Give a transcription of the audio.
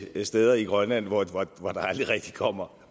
steder i grønland hvor der aldrig rigtig kommer